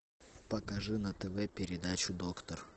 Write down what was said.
покажи на тв передачу доктор